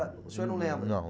O senhor não lembra? Não.